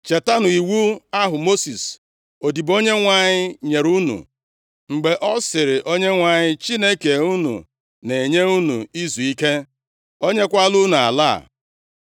“Chetanụ iwu ahụ Mosis odibo Onyenwe anyị nyere unu, mgbe ọ sịrị, ‘ Onyenwe anyị Chineke unu na-enye unu izuike. O nyekwala unu ala a.’